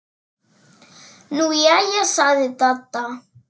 Nú jæja sagði Dadda.